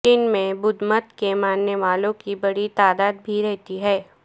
چین میں بدھ مت کے ماننے والوں کی بڑی تعداد بھی رہتی ہے